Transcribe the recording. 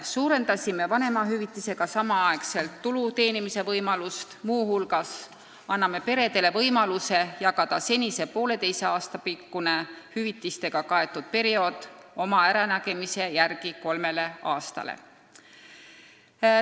Suurendasime võimalust vanemahüvitise saamise ajal muudki tulu teenida ning andsime peredele võimaluse jagada senine poolteise aasta pikkune hüvitistega kaetud periood oma äranägemise järgi kolmele aastale.